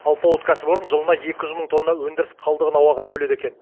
алпауыт кәсіпорын жылына екі жүз мың тонна өндіріс қалдығын ауаға бөледі екен